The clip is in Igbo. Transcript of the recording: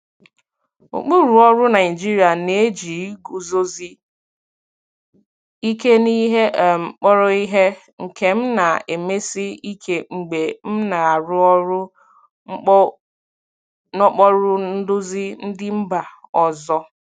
Ụkpụrụ ọrụ Naijiria na-eji iguzosi ike n'ihe um kpọrọ ihe, nke m na-emesi ike mgbe m na-arụ ọrụ n'okpuru nduzi ndị mba ọzọ.